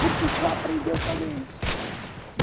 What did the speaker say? porque só aprendeu fazer isso.